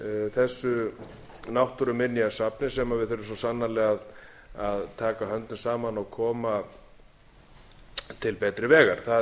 þessu náttúruminjasafni sem við þurfum svo sannarlega að taka höndum saman og koma til betri vegar